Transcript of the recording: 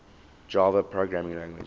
java programming language